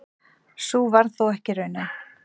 Sú varð þó ekki raunin.